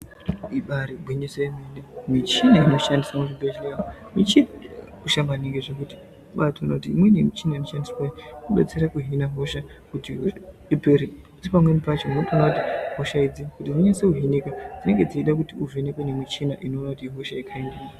Ibaari gwinyiso remene michina inoshandiswa muchibhedhlera umo michini yakakosha maningi zvekuti unobaatoona kuti imweni yemichini inoshandiswa kubetsera kuhina hosha kuti ipere asi pamweni pacho unotoona kuti hosha iyi kuti inase kuhinika zvinenge zveida kuti uvhenekwe nemuchina kuona kuti ihosha yekhaindinyi.